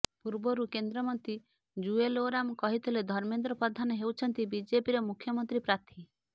ପୂର୍ବରୁ କେନ୍ଦ୍ର ମନ୍ତ୍ରୀ ଜୁଏଲ ଓରାମ କହିଥିଲେ ଧର୍ମେନ୍ଦ୍ର ପ୍ରଧାନ ହେଉଛନ୍ତି ବିଜେପିର ମୁଖ୍ୟମନ୍ତ୍ରୀ ପ୍ରାର୍ଥୀ